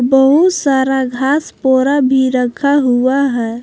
बहुत सारा घास पोवरा भी रखा हुआ है।